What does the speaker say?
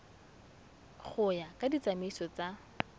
go ya ka ditsamaiso tsa